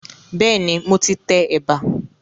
Bẹ́ẹ̀ni, mo ti tẹ ẹ̀bà